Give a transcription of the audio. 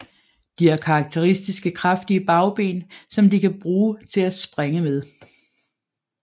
De har karakteristiske kraftige bagben som de kan bruge til at springe med